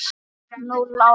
Núll ára!